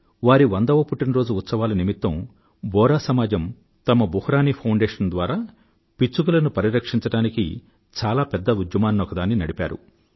వారి వందవ పుట్టినరోజు ఉత్సవాల నిమిత్తం బొహ్రా సమాజం తమ బుహ్రానీ ఫౌండేషన్ ద్వారా పిచ్చుకలను పరిరక్షించడానికి చాలా పెద్ద ఉద్యమాన్నొకదాన్ని నడిపారు